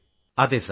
അതെ സർ